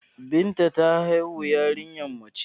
Binta ta haihu yariya mace